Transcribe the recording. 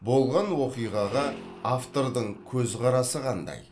болған оқиғаға автордың көзқарасы қандай